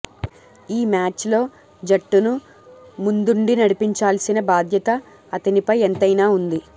ఈ మ్యాచ్లో జట్టును ముందుండి నడిపించాల్సిన బాధ్యత అతనిపై ఎంతైనా ఉంది